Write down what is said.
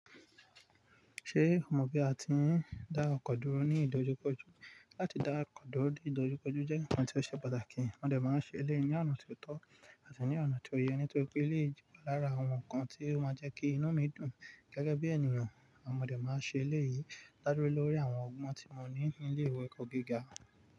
Ṣé o mọ bí a ti ń dá ọkọ dúró ní ìdojúkọjú? Láti dá ọkọ dúró ní ìdojúkọjú jẹ́ ǹkan tí ó ṣe pàtàkì. Mọdé máa ń ṣe èléyìí ní ọ̀nà ti o tọ́ àti ní ọ̀nà ti o yẹ, nítorí pé eleyi je lára àwọn ǹkan tí ó máa jẹ́ kí inú mi dùn gẹ́gẹ́ bí ènìyàn. Àwọn ọmọdé máa ń ṣe èlé yìí ládúrú lórí àwọn ọgbọ́n tí wọ́n ní ní ilé ìwé kọ́kíńkan.